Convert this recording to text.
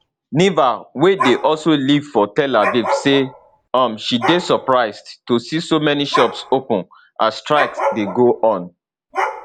niva wey dey also live for tel aviv say um she dey surprised to see so many shops open as strike dey go on